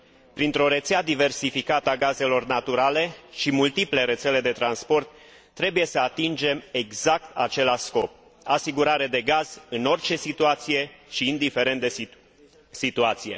Printr o rețea diversificată a gazelor naturale și multiple rețele de transport, trebuie să atingem exact același scop asigurare de gaz în orice situație și indiferent de situație.